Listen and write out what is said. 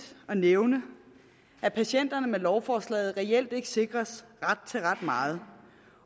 at nævne at patienterne med lovforslaget reelt ikke sikres ret til ret meget